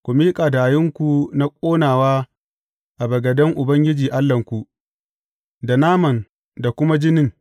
Ku miƙa hadayunku na ƙonawa a bagaden Ubangiji Allahnku, da naman da kuma jinin.